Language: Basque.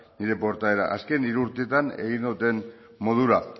nire portaera azken hiru urteetan egin dudan modura